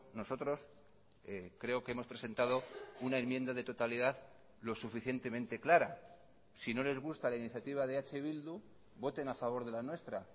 nosotros creo que hemos presentado una enmienda de totalidad lo suficientemente clara si no les gusta la iniciativa de eh bildu voten a favor de la nuestra